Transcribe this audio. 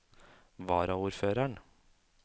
varaordføreren